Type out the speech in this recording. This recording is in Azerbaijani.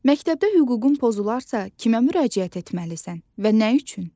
Məktəbdə hüququn pozularsa, kimə müraciət etməlisən və nə üçün?